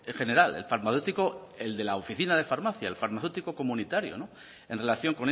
general el farmacéutico el de la oficina de farmacia el farmacéutico comunitario en relación